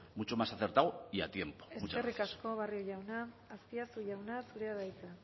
mucho más acertado y a tiempo muchas gracias eskerrik asko barrio jauna azpiazu jauna zurea da hitza